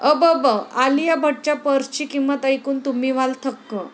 अबब...! आलिया भट्टच्या पर्सची किंमत ऐकून तुम्ही व्हाल थक्क